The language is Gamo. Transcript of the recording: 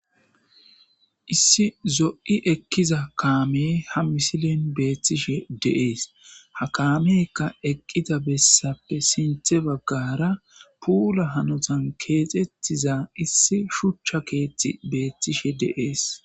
issi zo7i ekkiza kaame ha misilen beettishe deees ha kaamekka eqqida bessappe sinthe baggara puula hanotan keexettiza issi shuchcha keethti beettishe deees